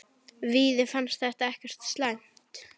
Víði fannst það ekkert slæmt.